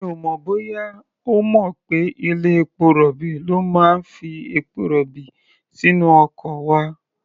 Mi ò mọ̀ bóyá ó mọ̀ pé ilé-epo rọ̀bì ló máa ń fi epo-rọ̀bì sínú ọkọ̀ wa.